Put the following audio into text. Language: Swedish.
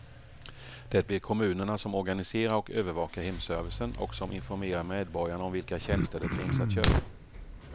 Det blir kommunerna som organiserar och övervakar hemservicen och som informerar medborgarna om vilka tjänster det finns att köpa.